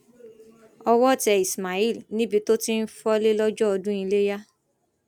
owó tẹ ismail níbi tó ti ń fọlé lọjọ ọdún iléyà